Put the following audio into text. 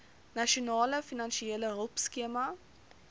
nasionale finansiële hulpskema